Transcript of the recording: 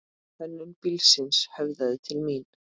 Hönnun bílsins höfðaði til mín.